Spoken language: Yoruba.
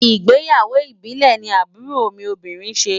Ìgbéyàwó ìbílẹ̀ ni àbúrò mi obìnrin ṣe.